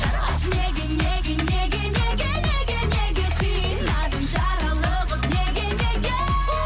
айтшы неге неге неге неге неге неге қинадың жаралы қып неге неге